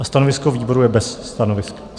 A stanovisko výboru je bez stanoviska.